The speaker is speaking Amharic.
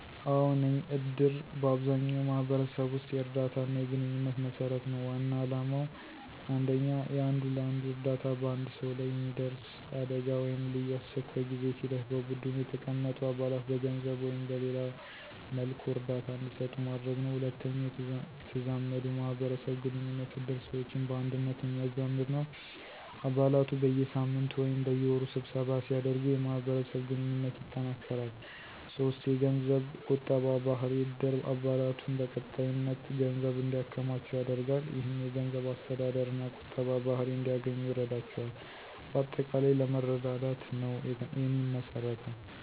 አዎ ነኝ፦ እድር በአብዛኛው ማህበረሰብ ውስጥ የእርዳታና የግንኙነት መሰረት ነው። ዋና ዓላማው 1. የአንዱ ለአንዱ እርዳታ በአንድ ሰው ላይ የሚደርስ አደጋ ወይም ልዩ አስቸኳይ ጊዜ ሲደርስ በቡድኑ የተቀመጡ አባላት በገንዘብ ወይም በሌላ መልኩ እርዳታ እንዲሰጡ ማድረግ ነው። 2. የተዛመዱ ማህበረሰብ ግንኙነት እድር ሰዎችን በአንድነት የሚያዛመድ ነው። አባላቱ በየሳምንቱ ወይም በየወሩ ስብሰባ ሲያደርጉ የማህበረሰብ ግንኙነት ይጠናከራል። 3. የገንዘብ ቁጠባ ባህሪ እድር አባላቱን በቀጣይነት ገንዘብ እንዲያከማቹ ያደርጋል። ይህም የገንዘብ አስተዳደርና ቁጠባ ባህሪ እንዲያገኙ ይረዳቸዋል። በአጠቃላይ ለመረዳዳት ነው የሚመሰረተው።